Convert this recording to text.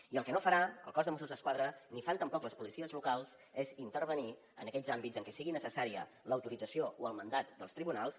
i el que no farà el cos de mossos d’esquadra ni fan tampoc les policies locals és intervenir en aquells àmbits en què sigui necessària l’autorització o el mandat dels tribunals